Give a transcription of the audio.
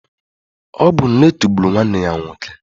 Ọ bu nletu gbụrụ nwanne ya nwoke.